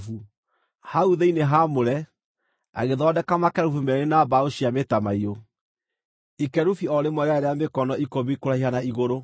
Hau thĩinĩ haamũre, agĩthondeka makerubi meerĩ na mbaũ cia mĩtamaiyũ, ikerubi o rĩmwe rĩarĩ rĩa mĩkono ikũmi kũraiha na igũrũ.